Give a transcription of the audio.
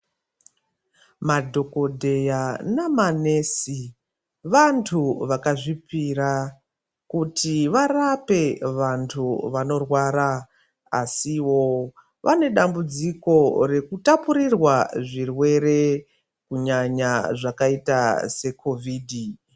Madhogodheya namanesi vantu vakazvipira kuti varape vantu vanorwara asiwo vanedambudziko rekutapurirwa zvirwere kunyanya zvakaita sekhovhidhi.